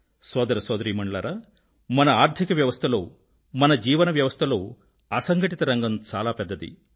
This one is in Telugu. సోదర సోదరీమణులారా మన ఆర్థిక వ్యవస్థలో మన జీవన వ్యవస్థలో అసంఘటిత రంగం చాలా పెద్దది